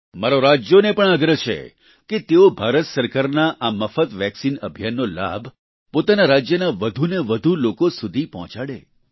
મારો રાજ્યોને પણ આગ્રહ છે કે તેઓ ભારત સરકારના આ મફત વેક્સિન અભિયાનનો લાભ પોતાના રાજ્યના વધુને વધુ લોકો સુધી પહોંચાડે